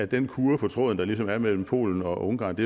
den kurre på tråden der ligesom er mellem polen og ungarn